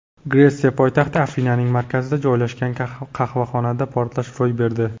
Gretsiya poytaxti Afinaning markazida joylashgan qahvaxonada portlash ro‘y berdi.